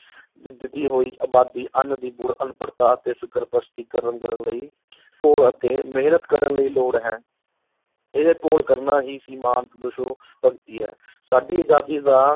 ਵੱਧਦੀ ਹੋਈ ਆਬਾਦੀ, ਅੰਨ੍ਹ ਦੀ ਬੁੜ, ਅਨਪੜਤਾ ਅਤੇ ਫ਼ਿਰਕਾਪ੍ਰਸਤੀ ਲਈ ਘੋਲ ਅਤੇ ਮਿਹਨਤ ਕਰਨ ਦੀ ਲੋੜ ਹੈ, ਇਹ ਘੋਲ ਕਰਨਾ ਹੀ ਭਗਤੀ ਹੈ ਸਾਡੀ ਅਜਾਦੀ ਦਾ